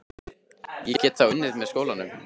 Ég get þá unnið með skólanum.